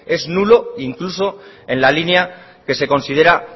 es nulo incluso en la línea que se considera